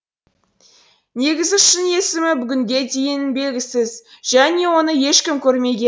негізі шын есімі бүгінге дейін белгісіз және оны ешкім көрмеген